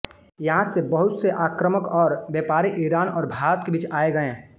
यहाँ से बहुत से आक्रामक और व्यापारी ईरान और भारत के बीच आयेगये